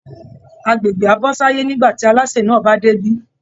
Agbègbè á bọ́ sáyé nígbà tí alásè náà bá débí